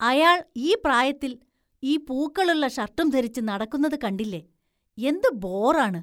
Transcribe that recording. അയാള്‍ ഈ പ്രായത്തില്‍ ഈ പൂക്കളുള്ള ഷര്‍ട്ടും ധരിച്ച് നടക്കുന്നത് കണ്ടില്ലേ, എന്ത് ബോറാണ്.